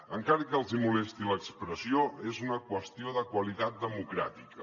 encara que els hi molesti l’expressió és una qüestió de qualitat democràtica